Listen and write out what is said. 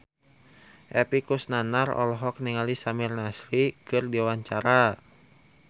Epy Kusnandar olohok ningali Samir Nasri keur diwawancara